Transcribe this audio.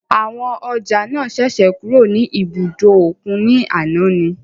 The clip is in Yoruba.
Àwọn ọjà náà ṣẹ̀ṣẹ̀ kúrò ní ibùdó òkun ní àná ni.